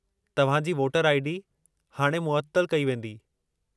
तव्हां जी वोटरु आई.डी. हाणे मुअत्तलु कई वेंदी।